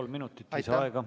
Kolm minutit lisaaega.